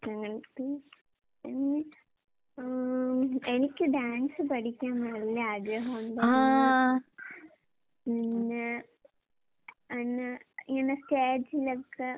അങ്ങനത്തെ എന്ന് വച്ചാ ആം എനിക്ക് ഡാൻസ് പഠിക്കാൻ നല്ല ആഗ്രഹോണ്ടായിരുന്നു. പിന്നെ പിന്നെ ഇങ്ങനെ സ്റ്റേജിലൊക്കെ